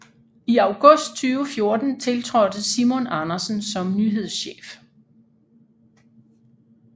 I august 2014 tiltrådte Simon Andersen som nyhedschef